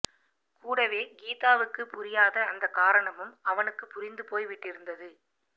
கூடவே கீதாவுக்குப் புரியாத அந்தக் காரணமும் அவனுக்குப் புரிந்து போய் விட்டிருந்தது